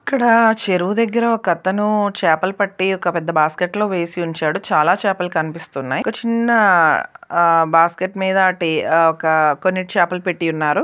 ఇక్కడ చెరువు దగ్గర ఒక అతను చేపలు పట్టి ఒక పెద్ద బాస్కెట్ లో వేసి ఉంచాడు చాలా చేపలు కనిపిస్తున్నాయి ఒక చిన్న ఆ బాస్కెట్ మీదటి ఒక కొన్ని చాపలు పెట్టి ఉన్నారు.